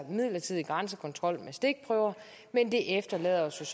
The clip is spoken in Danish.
midlertidig grænsekontrol med stikprøver men det efterlader os